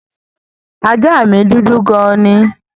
Ajá mí dúdú gan ni.